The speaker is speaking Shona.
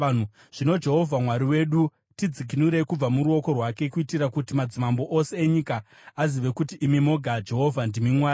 Zvino, Jehovha Mwari wedu, tidzikinurei kubva muruoko rwake, kuitira kuti madzimambo ose enyika azive kuti imi moga, Jehovha, ndimi Mwari.”